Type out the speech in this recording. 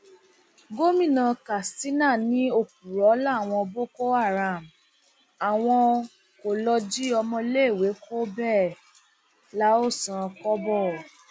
gomina katsina ní òpùrọ làwọn boko haram àwọn kó lọ jí ọmọléèwé kó bẹẹ la ó san kọbọ